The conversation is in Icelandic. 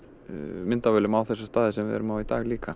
myndavélar á þessa staði sem við erum á í dag líka